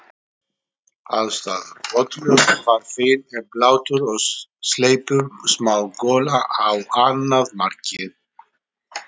Aðstæður: Völlurinn var fínn en blautur og sleipur, smá gola á annað markið.